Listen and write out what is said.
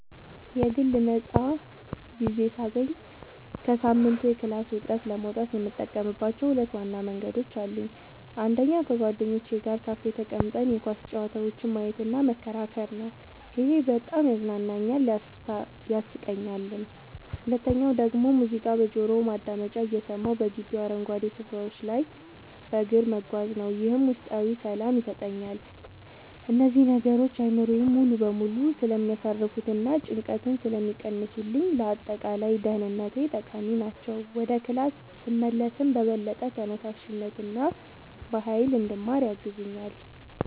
የግል ነፃ ጊዜ ሳገኝ ከሳምንቱ የክላስ ውጥረት ለመውጣት የምጠቀምባቸው ሁለት ዋና መንገዶች አሉኝ። አንደኛው ከጓደኞቼ ጋር ካፌ ተቀምጠን የኳስ ጨዋታዎችን ማየትና መከራከር ነው፤ ይሄ በጣም ያዝናናኛል፣ ያሳቀኛልም። ሁለተኛው ደግሞ ሙዚቃ በጆሮ ማዳመጫ እየሰማሁ በግቢው አረንጓዴ ስፍራዎች ላይ በእግር መጓዝ ነው፤ ይህም ውስጣዊ ሰላም ይሰጠኛል። እነዚህ ነገሮች አእምሮዬን ሙሉ በሙሉ ስለሚያሳርፉትና ጭንቀትን ስለሚቀንሱልኝ ለአጠቃላይ ደህንነቴ ጠቃሚ ናቸው። ወደ ክላስ ስመለስም በበለጠ ተነሳሽነትና በሃይል እንድማር ያግዙኛል።